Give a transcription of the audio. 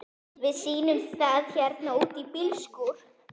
Við sýnum það hérna úti í bílskúr.